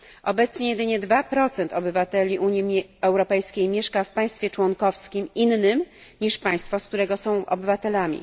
Obecnie jedynie 2 obywateli Unii Europejskiej mieszka w państwie członkowskim innym niż państwo, którego są obywatelami.